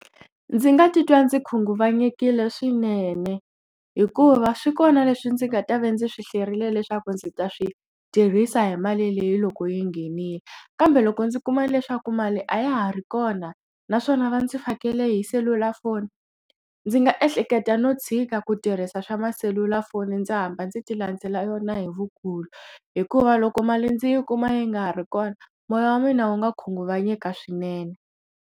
Ndzi nga titwa ndzi khunguvanyekile swinene hikuva swi kona leswi ndzi nga ta va ndzi swi hlwerile leswaku ndzi ta swi tirhisa hi mali leyi loko yi nghenile kambe loko ndzi kuma leswaku mali a ya ha ri kona naswona va ndzi fakele hi selulafoni ndzi nga ehleketa no tshika ku tirhisa swa ma selulafoni ndzi hamba ndzi ti landzela yona hi vukulu hikuva loko mali ndzi yi kuma yi nga ha ri kona moya wa mina wu nga khunguvanyeka swinene.